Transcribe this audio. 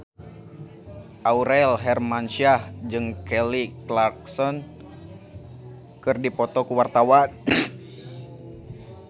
Aurel Hermansyah jeung Kelly Clarkson keur dipoto ku wartawan